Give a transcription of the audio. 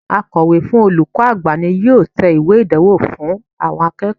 Akòwé fún olùkó àgbà ni yóò te ìwé ìdánwò àwon akéèkó